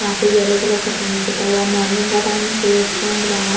यहाँ पे yellow colour का पेंट पुता हुआ मॉर्निंग का टाइम में सूरज उग रहा हैं।